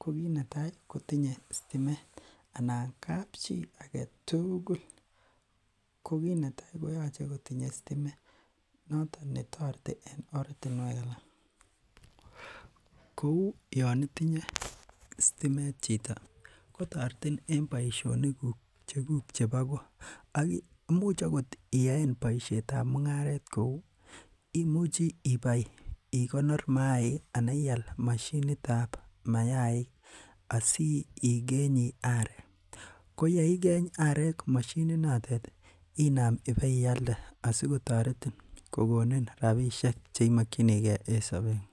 ko kinetai kotinye sitimet anan kapchii aketukul ko kiit netai koyoche kotinye sitimet noton netoreti en ortinwek alak, kouu yoon itinye sitimet chito kotoretin en boishonikuk chekuk chebo koo ak imuch okot iyaen boishetab mung'aret kou imuche ibai ikonor maik anan ial mashinitab mayaik asikenyi arek, ko yeikeny arek moshini notet inaam ibeialde asikotoretin kokonin rabishek cheimokyinike en sobengung.